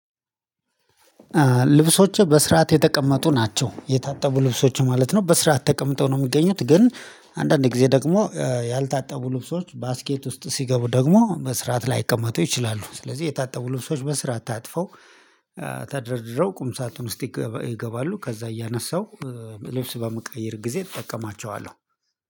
ልብሶች በስርዓት የተቀመጡ ናቸው የታጠቡ ልብሶች ማለት ነው። በስርዓት ተቀምጠው ነው የሚገኙት ግን አንዳንዴ ጊዜ ደግሞ ያልታጠቡ ልብሶች ባስኬት ውስጥ ሲገቡ ደግሞ መስራት ላይቀመጡ ይችላሉ። ስለዚህ የታጠቡ ልብሶች በስራ ታጥፈው ተደርድረው ቁም ሳጥን ውስጥ ይገባሉ። ከዛ እያነሳው ልብስ በመቀየር ጊዜ እጠቀማቸዋለሁ